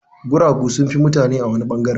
Guragu sun fi mutane a wani ɓangare.